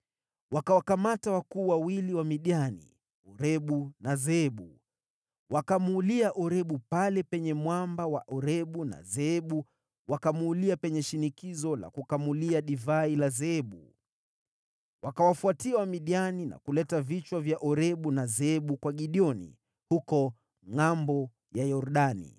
Wakawakamata wakuu wawili wa Midiani, Orebu na Zeebu. Wakamuulia Orebu pale penye mwamba wa Orebu, na Zeebu wakamuulia penye shinikizo la kukamulia divai la Zeebu. Wakawafuatia Wamidiani na kuleta vichwa vya Orebu na Zeebu kwa Gideoni, huko ngʼambo ya Yordani.